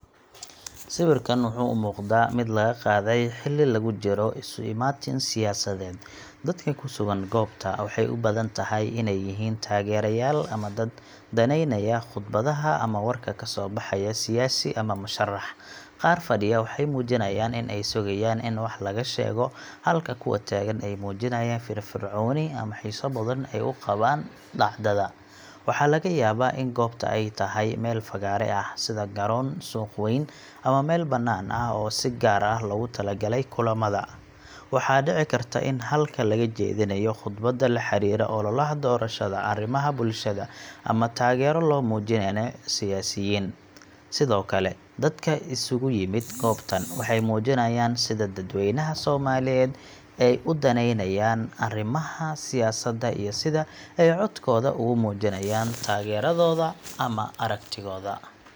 Sawirkan wuxuu u muuqdaa mid laga qaaday xilli lagu jiro isu imaatin siyaasadeed. Dadka ku sugan goobta waxay u badan tahay inay yihiin taageerayaal ama dad danaynaya khudbadaha ama warka kasoo baxaya siyaasi ama musharrax. Qaar fadhiya waxay muujinayaan in ay sugayaan in wax laga sheego, halka kuwa taagan ay muujinayaan firfircooni ama xiiso badan ay u qabaan dhacdada. Waxaa laga yaabaa in goobta ay tahay meel fagaare ah, sida garoon, suuq weyn, ama meel banaan oo si gaar ah loogu talagalay kulamada. Waxaa dhici karta in halkaa laga jeedinayo khudbado la xiriira ololaha doorashada, arrimaha bulshada, ama taageero loo muujinayo siyaasiyiin. Sidoo kale, dadka isugu yimid goobtan waxay muujinayaan sida dadweynaha Soomaaliyeed ay u danaynayaan arrimaha siyaasadda iyo sida ay codkooda ugu muujinayaan taageeradooda ama aragtidooda.